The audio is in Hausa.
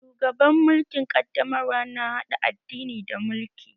Shugaban mulkin ƙaddamarwa na haɗa addini da mulki